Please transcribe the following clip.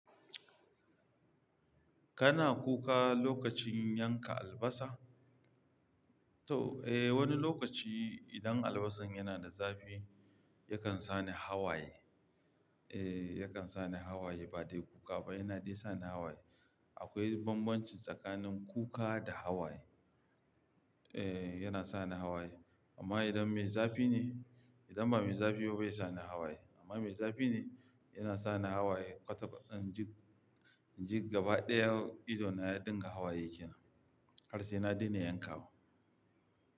Kana kuka lokacin yanka albasa? To, eh wani lokaci idan albasar yana da zafi yakan sani hawaye. Eh, yakan sani hawaye ba dai kuka ba, yana dai sani hawaye. Akwai bambanci tsakanin kuka da hawaye. Eh, yana sani hawaye amma idan mai zafi ne, idan ba mai zafi ba bai sani hawaye ba. Amma mai zafi ne yana sani hawaye. Otof, inji, inji gaba ɗaya ido na ya dinga hawaye ke nan har sai na daina yankawa.